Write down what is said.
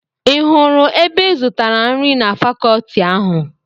Ị hụrụ ebe ị zụtara nri na fakọọti ahụ.